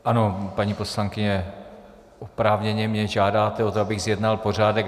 Ano, paní poslankyně, oprávněně mě žádáte o to, abych zjednal pořádek.